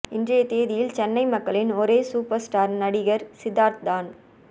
இன்றைய தேதியில் சென்னை மக்களின் ஒரே சூப்பர் ஸ்டார் நடிகர் சித்தார்த் தான்